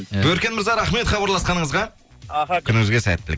ііі өркен мырза рахмет хабарласқаныңызға аха күніңізге сәттілік